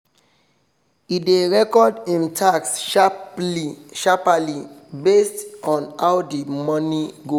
e dey record him task sharpaly based on how the morning go